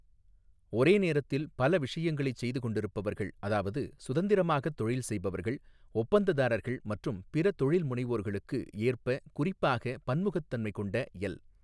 ஒரே நேரத்தில் பல விஷயங்களைச் செய்து கொண்டிருப்பவர்கள் அதாவது சுதந்திரமாகத் தொழில் செய்பவர்கள், ஒப்பந்ததாரர்கள் மற்றும் பிற தொழில்முனைவோர்களுக்கு ஏற்ப குறிப்பாக, பன்முகத்தன்மை கொண்ட எல்.